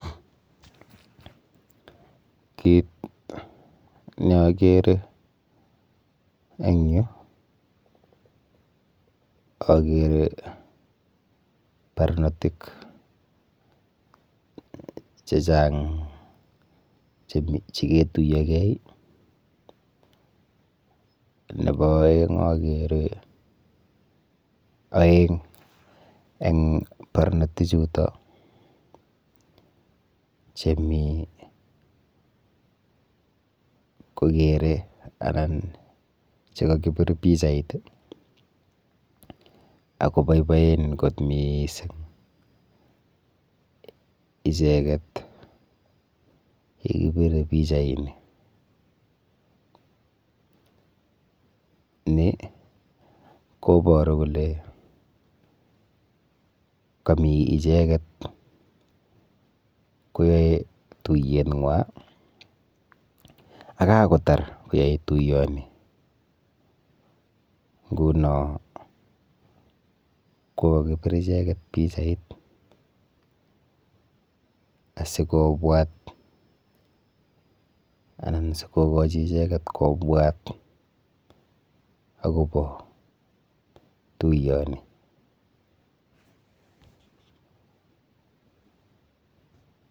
Kit neakere eng yu akere barnotik chechang cheketuiyogei nepo oeng akere aeng eng barnotichuto chemi kokere anan chekakipir pichait akoboiboen kot miising icheket yekipire pichaini ni koporu kole kami icheket koyoe tuiyeng'wa akakotar icheket tuiyoni nguno kokakipir icheket pichait asikobwat anan sikokochi icheket kobwat akopo tuiyoni.